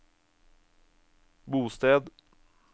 bosted